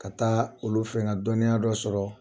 Ka taa olu fɛ nɛ ka dɔnniya dɔ sɔrɔ.